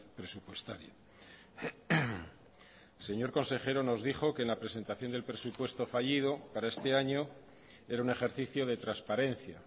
presupuestaria señor consejero nos dijo que en la presentación del presupuesto fallido para este año era un ejercicio de transparencia